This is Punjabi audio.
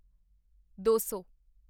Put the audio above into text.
ਦੋ ਸੌ